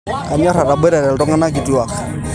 Kanyor atoboitare ltungana kutwua